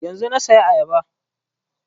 Yanzun na saya ayaba